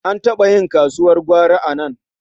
An taɓa yin kasuwar gwari a nan.